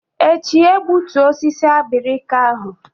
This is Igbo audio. Echi egbutu osisi abirika ahụ!